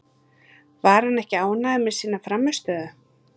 Var hann ekki ánægður með sína frammistöðu?